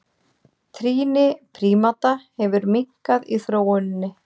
Trýni prímata hefur minnkað í þróuninni.